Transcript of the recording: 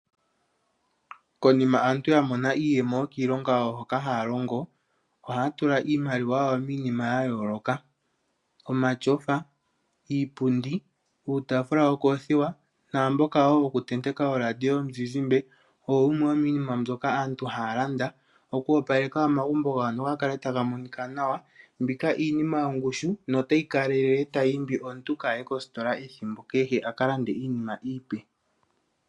Konima aantu ya mona iiyemo yokiilonga yawo hoka haya longo ohaya tula iimaliwa yawo miinima ya yooloka. Omashofa, iipundi, uutafula wookothiwa naamboka wo wokutenteka oradio yomuzizimba owo wumwe womiinima mbyoka aantu haya landa oku opaleka omagumbo gawo ga kale taga monika nawa. Mbika iinima yongushu notayi kalelele tayi imbi omuntu kaye kositola ethimbo kehe a ka lande iinima iipe.